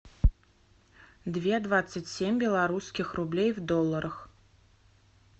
две двадцать семь белорусских рублей в долларах